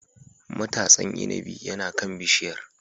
Matasan inabi yana kan bishiyar.